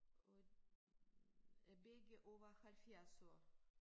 Og og begge over 70 år